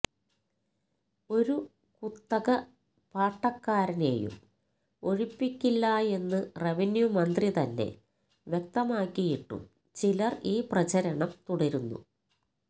ഒരു കുത്തക പാട്ടക്കാരനെയും ഒഴിപ്പിക്കില്ലായെന്ന് റവന്യൂ മന്ത്രി തന്നെ വ്യക്തമാക്കിയിട്ടും ചിലര് ഈ പ്രചരണം തുടര്ന്നു